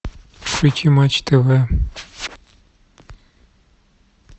включи матч тв